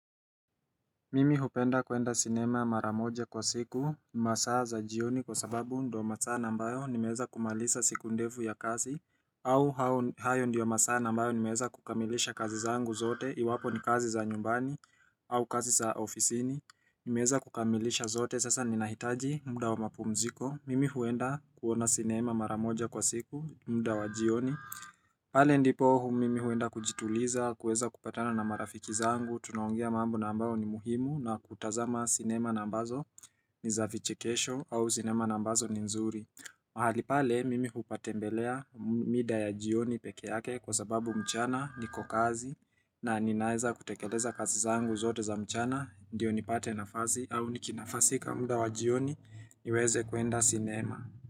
Mimi hupenda kuenda sinema mara moja kwa siku, masaa za jioni kwa sababu ndio masaa ambayo nimeweza kumaliza siku ndefu ya kazi au hayo ndiyo masaa ambayo nimeweza kukamilisha kazi zangu zote, iwapo ni kazi za nyumbani au kazi za ofisini. Nimeweza kukamilisha zote, sasa ninahitaji muda wa mapumziko. Mimi huenda kuona sinema mara moja kwa siku, muda wa jioni pale ndipo mimi huenda kujituliza, kuweza kupatana na marafiki zangu, Tunaongea mambo na ambayo ni muhimu, na kutazama sinema na ambazo ni za vichekesho au sinema na ambazo ni nzuri mahali pale, mimi hupatembelea mida ya jioni peke yake kwa sababu mchana niko kazi na ninaweza kutekeleza kazi zangu zote za mchana, ndio nipate nafasi au nikinafasika muda wa jioni niweze kuenda sinema.